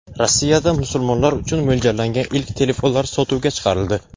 Rossiyada musulmonlar uchun mo‘ljallangan ilk telefonlar sotuvga chiqarildi.